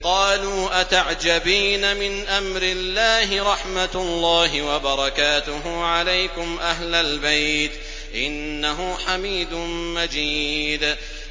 قَالُوا أَتَعْجَبِينَ مِنْ أَمْرِ اللَّهِ ۖ رَحْمَتُ اللَّهِ وَبَرَكَاتُهُ عَلَيْكُمْ أَهْلَ الْبَيْتِ ۚ إِنَّهُ حَمِيدٌ مَّجِيدٌ